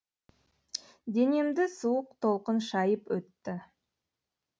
денемді суық толқын шайып өтті